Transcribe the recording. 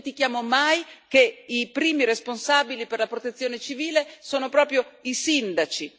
Non dimentichiamo mai che i primi responsabili per la protezione civile sono proprio i sindaci.